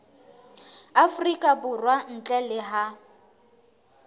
afrika borwa ntle le ha